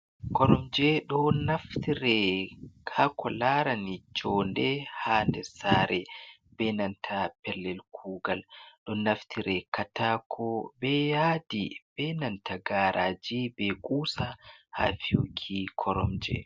Koromje do naftire ha ko larani jonde ha nder sare be nanta pellel kugal ɗon naftire katako be yadi be nanta garaji be gusa ha fiyuki koromje.